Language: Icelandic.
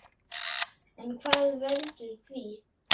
En hvað veldur því?